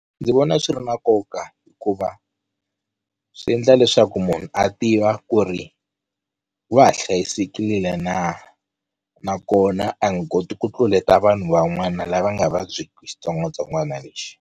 Ndzi vona swi ri na nkoka hikuva swi endla leswaku munhu a tiva ku ri wa ha hlayisekile na, nakona a nga koti ku tluleta vanhu van'wana lava nga vabyeki xitsongwatsongwana lexi.